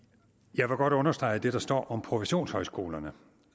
jeg vil godt understrege det der står om professionshøjskolerne